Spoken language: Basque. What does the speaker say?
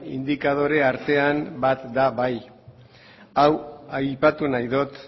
indikadore artean bat da bai hau aipatu nahi dut